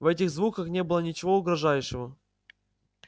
в этих звуках не было ничего угрожающего